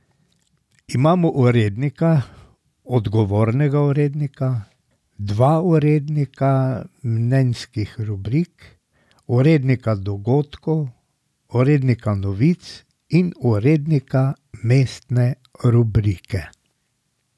Imamo urednika, odgovornega urednika, dva urednika mnenjskih rubrik, urednika dogodkov, urednika novic in urednika mestne rubrike.